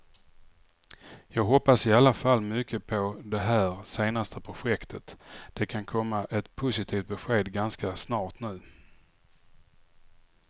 Jag hoppas i alla fall mycket på det här senaste projektet, det kan komma ett positivt besked ganska snart nu.